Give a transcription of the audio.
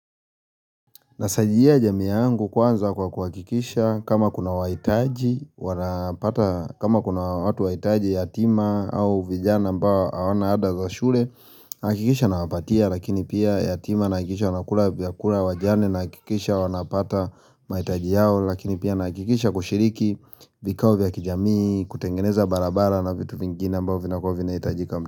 Nasaidia jamii yangu kwanza kwa kuhakikisha kama kuna waitaji, wanapata, kama kuna watu waitaji yatima au vijana ambao hawana ada za shule, nahakikisha nawapatia lakini pia yatima nahakikisha wanakula vyakula wajane nahakikisha wana pata mahitaji yao lakini pia nahakikisha kushiriki vikao vya kijamii, kutengeneza barabara na vitu vingine ambao vinakuwa vinahitajika kambi.